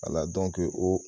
Ala o